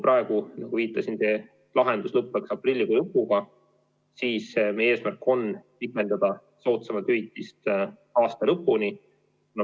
Praegu, nagu viitasin, lõppeks see kord aprillikuu lõpus, meie eesmärk on pikendada soodsamat hüvitist aasta lõpuni.